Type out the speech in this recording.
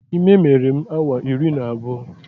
Ime mere m awa iri na abụọ